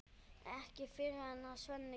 Ekki fyrr en Svenni kemur.